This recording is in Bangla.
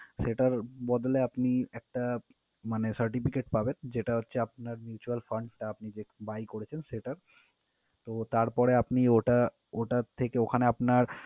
সেটার বদলে আপনি একটা মানে certificate পাবেন যেটা হচ্ছে আপনার mutual fund টা আপনি যে buy করেছেন সেটার। তো তারপরে আপনি ওটা ওটা থেকে ওখানে আপনার